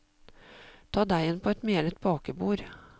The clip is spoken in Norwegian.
Ta deigen på et melet bakebord.